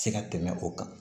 Se ka tɛmɛ o kan